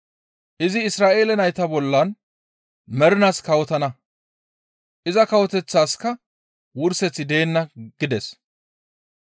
Izi Isra7eele nayta bollan mernaas kawotana; iza Kawoteththaskka wurseththi deenna» gides.